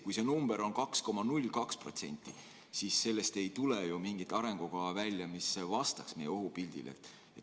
Kui see number on 2,02%, siis ei tule ju välja mingit sellist arengukava, mis vastaks meie ohupildile.